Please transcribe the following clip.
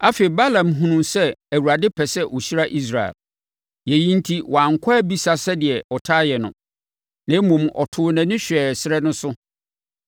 Afei, Balaam hunuu sɛ Awurade pɛ sɛ ɔhyira Israel. Yei enti, wankɔ abisa sɛdeɛ ɔtaa yɛ no. Na mmom, ɔtoo nʼani hwɛɛ ɛserɛ no so,